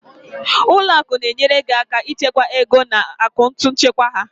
Ụlọ akụ na-enyere gị aka ịchekwa ego na akaụntụ nchekwa ha.